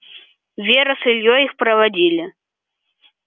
вера с ильёй их проводили